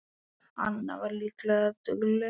Anna var líka dugleg.